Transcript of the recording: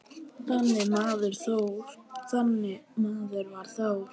Þannig maður var Þór.